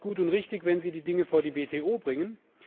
Da ist es gut und richtig, wenn Sie die Dinge vor die WTO bringen.